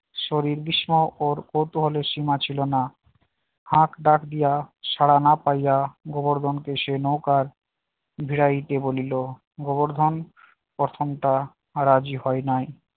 সেই সময় ওর কৌতূহলের সীমা ছিল না হাক ডাক দিয়া সাড়া না পাইয়া গোবর্ধনকে সে নৌকার ভিড়াইতে বলিল গোবরধন প্রথমটা রাজি হয় নাই